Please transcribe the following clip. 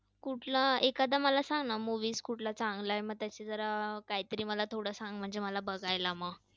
कुठला? एखादा मला सांग ना movie कुठला चांगला आहे? मग त्याची जरा काहीतरी मला थोडं सांग म्हणजे बघायला मग.